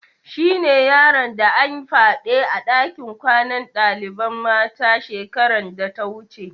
Shine yaron da an fyade a dakin kwanan dalibain mata shekaran da ta wuce.